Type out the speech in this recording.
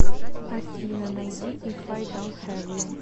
афина найди иф ай донт хев ю